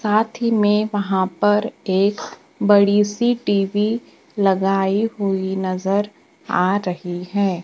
साथ ही में वहां पर एक बड़ी सी टी_वी लगाई हुई नजर आ रही है।